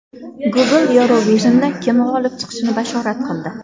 Google Eurovision’da kim g‘olib chiqishini bashorat qildi.